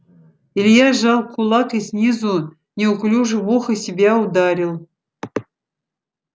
илья сжал кулак и снизу неуклюже в ухо себя ударил